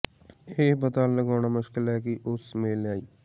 ਇਹ ਪਤਾ ਲਗਾਉਣਾ ਮੁਸ਼ਕਿਲ ਹੈ ਕਿ ਉਸ ਮੇਲ ਆਈ